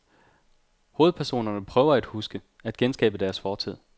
Hovedpersonerne prøver at huske, at genskabe deres fortid.